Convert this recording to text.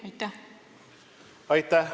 Aitäh!